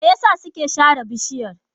Me yasa suke sare bishiyar?